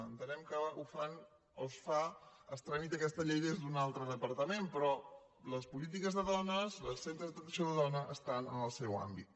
entenem que ho fan o es fa es tramita aquesta llei des d’un altre departament però les polítiques de dones els centres d’atenció a la dona estan en el seu àmbit